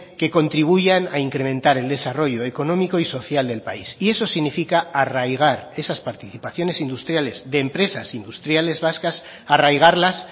que contribuyan a incrementar el desarrollo económico y social del país y eso significa arraigar esas participaciones industriales de empresas industriales vascas arraigarlas